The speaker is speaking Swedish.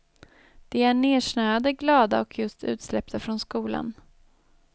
De är nersnöade, glada och just utsläppta från skolan.